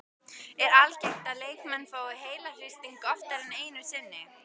Er algengt að leikmenn fái heilahristing oftar en einu sinni?